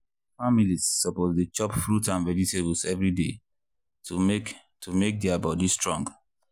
families suppose dey chop fruit and vegetables every day to make to make their body strong.